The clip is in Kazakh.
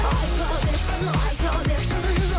айта берсін айта берсін